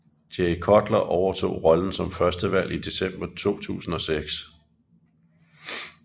Jay Cutler overtog rollen som førstevalg i december 2006